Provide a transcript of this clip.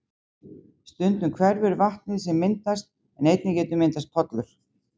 Stundum hverfur vatnið sem myndast en einnig getur myndast pollur.